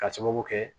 Ka sababu kɛ